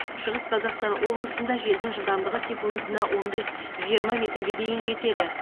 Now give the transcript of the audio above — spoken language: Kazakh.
шығыс қазақстан облысында желдің жылдамдығы секундына он бес жиырма метрге дейін жетеді